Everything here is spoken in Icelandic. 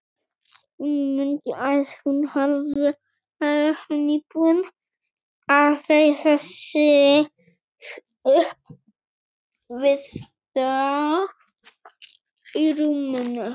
Hún mundi að hún hafði verið nýbúin að reisa sig upp við dogg í rúminu.